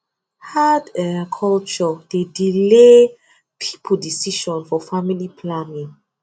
hard um culture dey delay um people decision for family planning